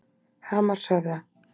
Hamarshöfða